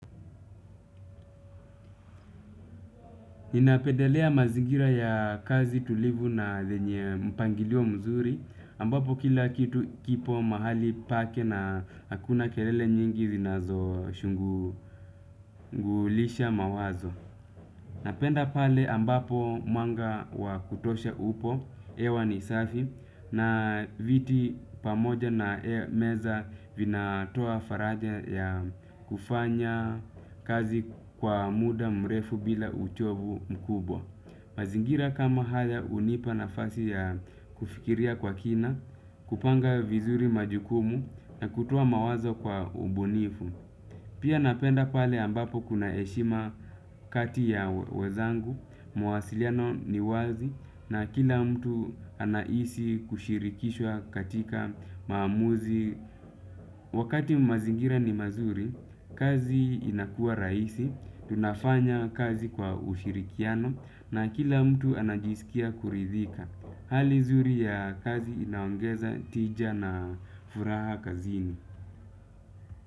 Ninapendelea mazingira ya kazi tulivu na lenye mpangilio mzuri, ambapo kila kitu kipo mahali pake na hakuna kelele nyingi zinazo shughulisha mawazo. Napenda pale ambapo mwanga wa kutosha upo, hewa ni safi, na viti pamoja na meza vinatoa faraja ya kufanya kazi kwa muda mrefu bila uchovu mkubwa. Mazingira kama haya hunipa nafasi ya kufikiria kwa kina, kupanga vizuri majukumu na kutoa mawazo kwa ubunifu. Pia napenda pale ambapo kuna heshima kati ya wezangu, mwasiliano ni wazi na kila mtu anahisi kushirikishwa katika maamuzi. Wakati mazingira ni mazuri, kazi inakua rahisi, tunafanya kazi kwa ushirikiano na kila mtu anajisikia kuridhika. Hali nzuri ya kazi inaongeza tija na furaha kazini.